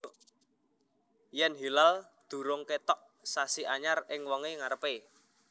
Yèn hilal durung kètok sasi anyar ing wengi ngarepé